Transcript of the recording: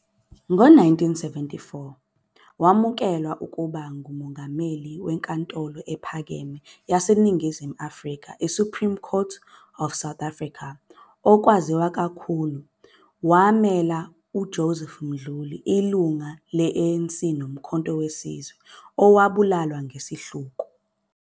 Nge-1974, wamukelwa ukuba ngummmeli weNkantolo Ephakeme yaseNingizimu Afrika iSupreme Court of South Africa. Okwaziwa kakhulu, wamela uJoseph Mduli, ilungu le-ANC noMkhonto WeSizwe, owabulawa ngesihluku.